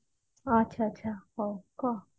ଆଛାଆଛା ହୋଉ କହ